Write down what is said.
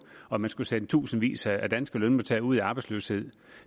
og at man skulle sende tusindvis af danske lønmodtagere ud i arbejdsløshed